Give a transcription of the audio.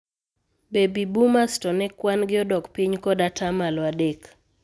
Baby Boomers to ne kwan gi odok piny kod ataa malo adek.